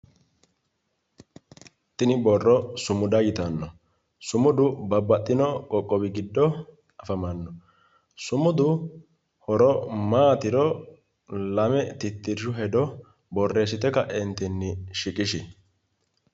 Tini borro sumuda yittano ,sumudu babbaxino qoqqowi giddo afamano ,sumudu horo maatiro lame titirshu hedo borreessite ka'etinni shiqqishi